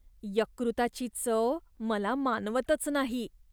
यकृताची चव मला मानवतच नाही.